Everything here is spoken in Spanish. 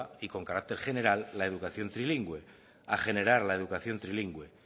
y con carácter general la educación trilingüe a generar la educación trilingüe